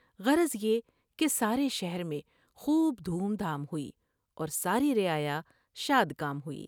غرض یہ کہ سارے شہر میں خوب دھوم دھام ہوئی اور ساری رعا یا شاد کام ہوئی ۔